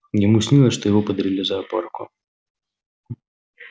ему снилось что его подарили зоопарку